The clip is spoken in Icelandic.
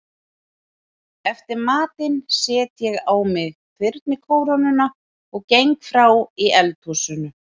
Eftir matinn set ég á mig þyrnikórónuna og geng frá í eldhúsinu.